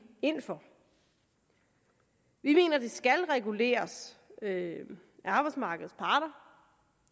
ind for vi mener at det skal reguleres af arbejdsmarkedets parter